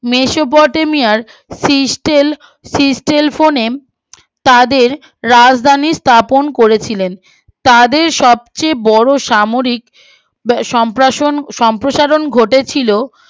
মেসোপটেমিয়ার সিস্টেল সিস্টেল ফোনে তাদের রাজধানী স্থাপন করেছিলেন তাদের সবচেয়ে বড়ো সাময়িক সম্প্র সম্প্রসারণ ঘটেছিলো